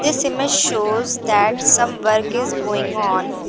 This image shows that some work is going on.